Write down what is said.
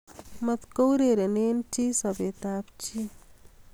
Matkourerene chi sobetab chi